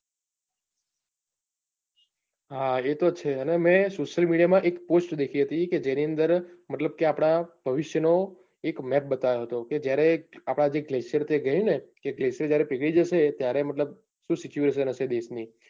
હા એતો છે અને મેં social media માં એક post દેખી હતી. જેની અંદર મતલબ કે આપણા ભવિષ્ય નો એક map બતાવ્યો હતો. કે જયારે આપણા જે glacier ગયી ને glacier જયારે પીગળી જશે ને ત્યારે સુ situation હશે દેશની.